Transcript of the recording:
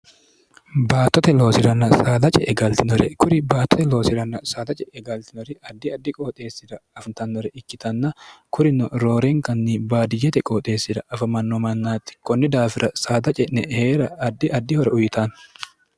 baattote loosiranna saada ce e galtinore kuri baattote loosiranna saada ce'e galtinori addi addi qooxeessira afitannore ikkitanna kurino roorenkanni baadiyete qooxeessira afamanno mannaatti kunni daafira saada ce'ne hee'ra addi addihore uyitanno